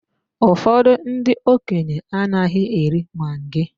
Ụfọdụ ndị okenye anaghị eri maggi